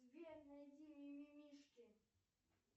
сбер найди ми ми мишки